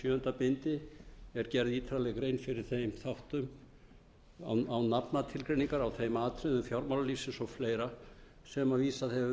sjöunda bindi er gerð ítarleg grein fyrir þeim þáttum án nafnatilgreiningar á þeim atriðum fjármálalífsins og fleira sem vísað